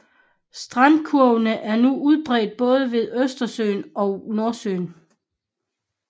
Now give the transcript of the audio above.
Strandkurvene er nu udbredt både ved Østersøen og Nordsøen